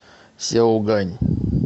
сяогань